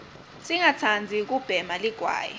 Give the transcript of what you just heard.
singatsandzi kubhema ligwayi